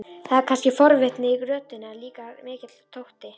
Það er kannski forvitni í röddinni, en líka mikill þótti.